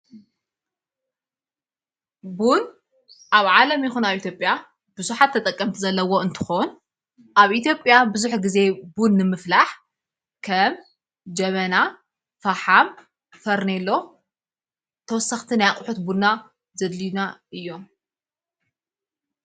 ቡን ኣብ ዓለም ይኹነ ኣብ ኢቲጴያ ብዙኃት ተጠቀምቲ ዘለዎ እንትኾን ኣብ ኢቲጴያ ብዙኅ ጊዜ ቡን ንምፍላሕ ከም ጀመና ፋሓም ፈርኔሎ ተወሰኽትን ኣያቝሑት ቡና ዘድልና እዮም።